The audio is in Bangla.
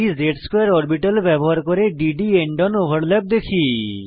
dz2 অরবিটাল ব্যবহার করে d D end on overlap দেখি